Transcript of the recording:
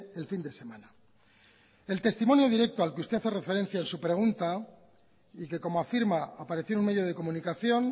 el fin de semana el testimonio directo al que usted hace referencia en su pregunta y que como afirma apareció en un medio de comunicación